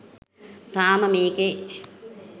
තාම මේකේ